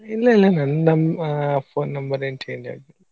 ಇಲ್ಲಇಲ್ಲ ನನ್ ನನ್ ಆ phone number ಏನ್ change ಆಗ್ಲಿಲ್ಲಾ.